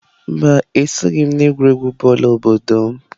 Mba, esoghị m n'egwuregwu bọọlụ obodo m.